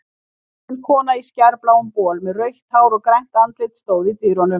Bústin kona í skærbláum bol með rautt hár og grænt andlit stóð í dyrunum.